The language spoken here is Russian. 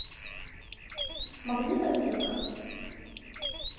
магнит аптека